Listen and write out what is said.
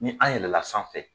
Ni an yɛlɛla sanfɛ